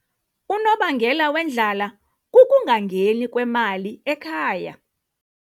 Unobangela wendlala kukungangeni kwemali ekhaya.